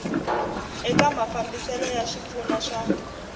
eka mafambiselo ya swipfuno swa